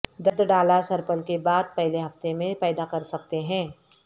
درد ڈالا سرپل کے بعد پہلے ہفتے میں پیدا کر سکتے ہیں